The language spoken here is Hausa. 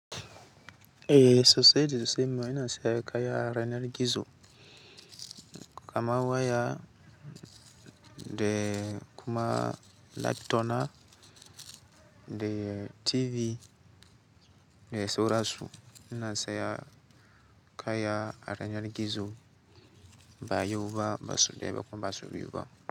E sosai da sosai mai na saya kaya a yanar gizo, kama waya de kuma laptopna de TV de sorasu. Ina saya kaya yanar gizo ba yau ba sau daya ba kuma basau biyu ba.